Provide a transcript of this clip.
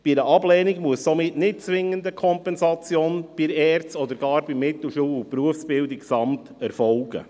Bei einer Ablehnung muss somit nicht zwingend eine Kompensation bei der ERZ oder sogar beim Mittelschul- und Berufsbildungsamt (MBA) erfolgen.